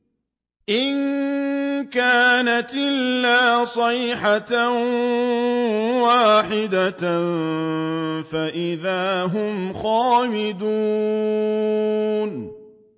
إِن كَانَتْ إِلَّا صَيْحَةً وَاحِدَةً فَإِذَا هُمْ خَامِدُونَ